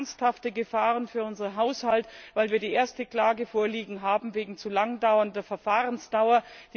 Wir haben ernsthafte Gefahren für unseren Haushalt, weil wir die erste Klage vorliegen haben wegen zu lang dauernder Verfahrensdauer.